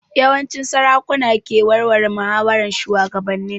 Yawanci sarakuna ke warware muhawaran shugabannin